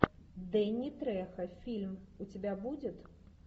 дэнни трехо фильм у тебя будет